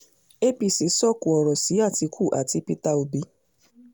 apc sọ̀kò ọ̀rọ̀ sí àtìkù àti peter obi